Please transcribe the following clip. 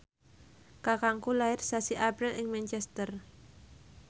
kakangku lair sasi April ing Manchester